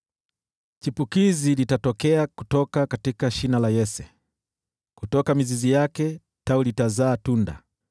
Chipukizi litatokea kutoka shina la Yese, kutoka mizizi yake Tawi litazaa tunda.